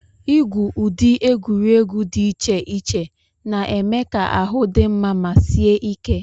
Igwu ụdị egwuregwu dị iche iche na-eme ka ahụ dị mma ma sie ike.